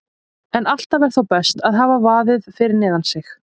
En alltaf er þó best að hafa vaðið fyrir neðan sig.